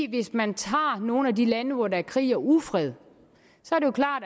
hvis man tager nogle af de lande hvor der er krig og ufred